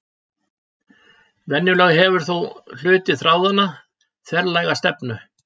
Venjulega hefur þó hluti þráðanna þverlæga stefnu.